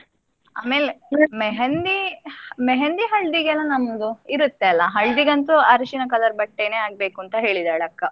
ಆಮೇಲೆ मेहंदी, मेहंदी , ಹಳದಿಗೆಲ್ಲ ನನ್ನದು ಇರತ್ತಲ್ಲ. ಹಳದಿಗಂತು ಅರಸಿನ colour ಬಟ್ಟೆನೆ ಆಗ್ಬೇಕು ಅಂತ ಹೇಳಿದಾಳೆ ಅಕ್ಕ.